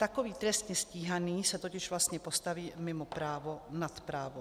Takový trestně stíhaný se totiž vlastně postaví mimo právo, nad právo.